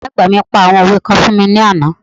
Ìyá àgbà mi pa àwọn òwe kan fún wa ní àná